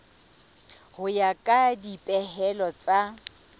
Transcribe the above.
ho ya ka dipehelo tsa